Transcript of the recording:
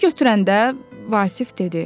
Belə götürəndə, Vasif dedi.